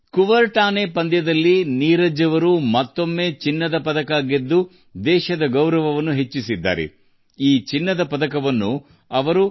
Kuortane ಕ್ರೀಡಾಕೂಟದಲ್ಲಿ ನೀರಜ್ ಚಿನ್ನ ಗೆಲ್ಲುವ ಮೂಲಕ ಮತ್ತೊಮ್ಮೆ ದೇಶಕ್ಕೆ ಹೆಮ್ಮೆ ತಂದಿದ್ದಾರೆ